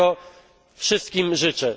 I tego wszystkim życzę.